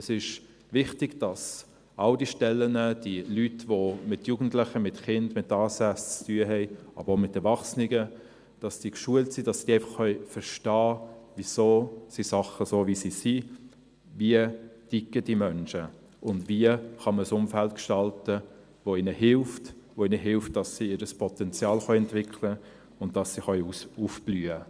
Es ist wichtig, dass alle diese Stellen, diese Leute, die mit Jugendlichen, mit Kindern mit ASS, aber auch mit Erwachsenen, zu tun haben, dass diese geschult sind, dass sie einfach verstehen können, wieso die Dinge so sind, wie sie sind, wie diese Menschen ticken, und wie man ein Umfeld gestalten kann, das ihnen hilft, das ihnen hilft, auch dabei hilft, ihr Potenzial entwickeln und aufblühen zu können.